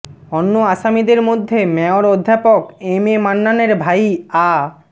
অন্য আসামিদের মধ্যে মেয়র অধ্যাপক এম এ মান্নানের ভাই আ